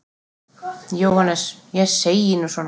JÓHANNES: Ég segi nú svona.